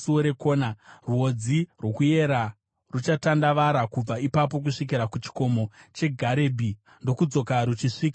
Rwodzi rwokuyera ruchatandavara kubva ipapo kusvikira kuchikomo cheGarebhi ndokudzoka ruchisvika kuGoa.